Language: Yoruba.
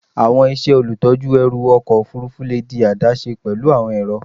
Awọn iṣẹ olutọju ẹru ọkọ ofurufu le di adaṣe pẹlu awọn ẹrọ